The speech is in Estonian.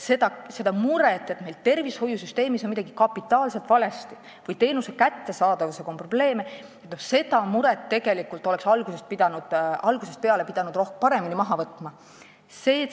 Seda muret, et meil on tervishoiusüsteemis midagi kapitaalselt valesti või teenuse kättesaadavusega on probleeme, oleks tegelikult algusest peale pidanud paremini maha võtma.